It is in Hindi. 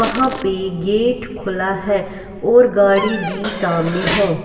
वहां पे गेट खुला है और गाड़ी भी सामने है.